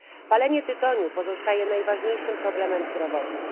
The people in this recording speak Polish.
Palenie tytoniu pozostaje najpoważniejszym problemem zdrowotnym